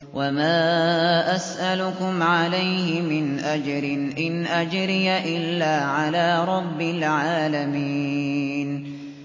وَمَا أَسْأَلُكُمْ عَلَيْهِ مِنْ أَجْرٍ ۖ إِنْ أَجْرِيَ إِلَّا عَلَىٰ رَبِّ الْعَالَمِينَ